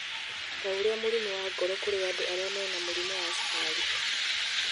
ta ũrĩa mũrimũ wa ngoro kũrĩ andũ arĩa mena mũrimũ wa cukari.